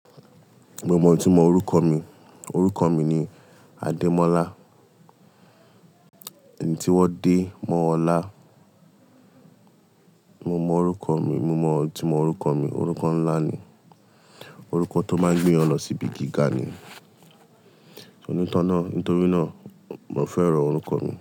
Mo mọ itumọ orúkọ mi. Orúkọ mi ni Adémọ́lá. Ẹni tí wọ́n dé mọ́ ọlá. Mo mọ orúkọ mi, mo mọ itumọ orúkọ mi. Orúkọ ńlá ni. Orúkọ tó máa gbé èèyàn lọ sí ibi gíga ni. Ní torí náà, mo fẹ́ràn orúkọ mi.